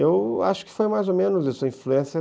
Eu acho que foi mais ou menos isso a influência